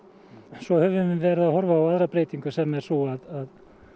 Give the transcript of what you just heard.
svo höfum við verið að horfa á aðra breytingu sem er sú að